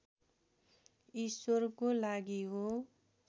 ईश्वरको लागि हो